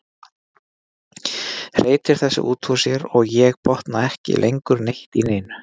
Hreytir þessu út úr sér og ég botna ekki lengur neitt í neinu.